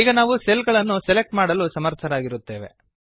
ಈಗ ನಾವು ಸೆಲ್ ಗಳನ್ನು ಸೆಲೆಕ್ಟ್ ಮಾಡಲು ಸಮರ್ಥರಾಗಿರುತ್ತೇವೆ